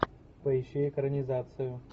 поищи экранизацию